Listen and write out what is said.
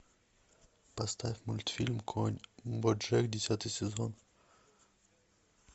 поставь мультфильм конь боджек десятый сезон